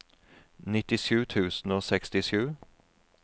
nittisju tusen og sekstisju